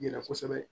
Yira kosɛbɛ